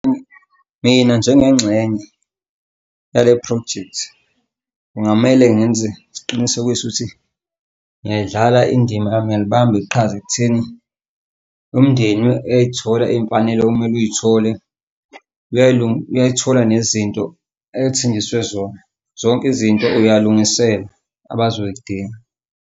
Mina njengengxenye yalephrojekthi kungamele ngenze isiqinisekiso ukuthi ngiyayidlala indima yami ngiyalibamba iqhaza ekutheni umndeni uyay'thola iy'mfanelo okumele uy'thole uyay'thola nezinto athenjiswe zona. Zonke izinto uyalungiselwa abazoy'dinga.